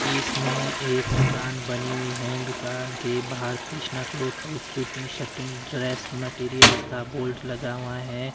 इसमें एक दुकान बनी हुई है दुकान के बाहर Krishna cloth house suiting shirting dress materials का बोर्ड लगा हुआ है।